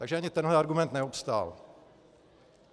Takže ani tenhle argument neobstál.